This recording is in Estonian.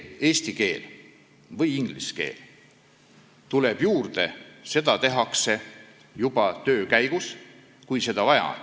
Eesti või inglise keel tuleb juurde juba töö käigus, kui seda vaja on.